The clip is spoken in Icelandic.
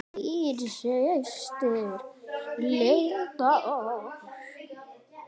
Þín systir, Linda Ósk.